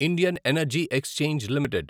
Indian energy exchange limited